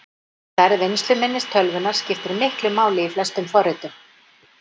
Stærð vinnsluminnis tölvunnar skiptir miklu máli í flestum forritum.